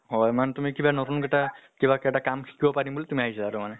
হয় মানে তুমি কিবা নতুন এটা কিবা এটা কাম শিকিব পাৰিম বুলি তুমি আহিছা তাৰ মানে?